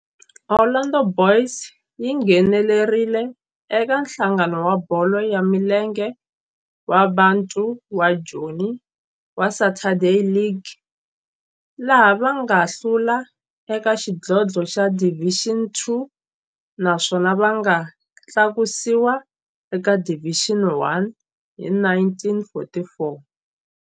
Orlando Boys yi nghenelerile eka Nhlangano wa Bolo ya Milenge wa Bantu wa Joni wa Saturday League, laha va nga hlula eka xidlodlo xa Division Two naswona va nga tlakusiwa eka Division One hi 1944.